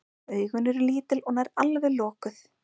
Augun eru lítil og nær alveg lokuð.